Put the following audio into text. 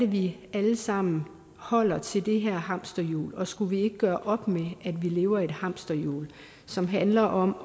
vi alle sammen holder til det her hamsterhjul og skulle vi ikke gøre op med at vi lever i et hamsterhjul som handler om